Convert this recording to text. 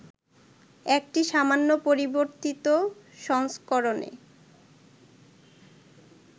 একটি সামান্য পরিবর্তিত সংস্করণে